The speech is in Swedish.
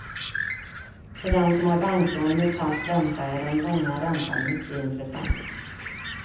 För den som har banklån med fast ränta är den långa räntan mycket intressant.